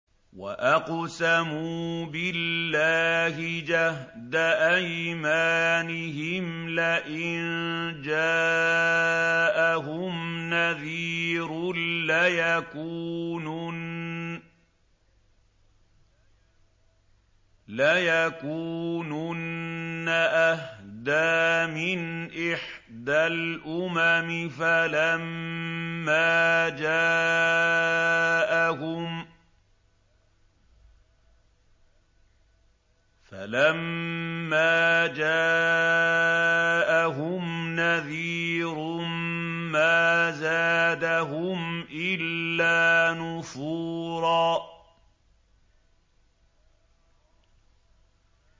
وَأَقْسَمُوا بِاللَّهِ جَهْدَ أَيْمَانِهِمْ لَئِن جَاءَهُمْ نَذِيرٌ لَّيَكُونُنَّ أَهْدَىٰ مِنْ إِحْدَى الْأُمَمِ ۖ فَلَمَّا جَاءَهُمْ نَذِيرٌ مَّا زَادَهُمْ إِلَّا نُفُورًا